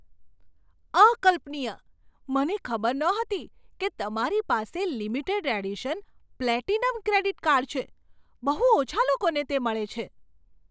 અકલ્પનીય! મને ખબર નહોતી કે તમારી પાસે limited edition platinum credit card છે. બહુ ઓછા લોકોને તે મળે છે.